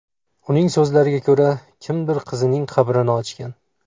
Uning so‘zlariga ko‘ra, kimdir qizining qabrini ochgan.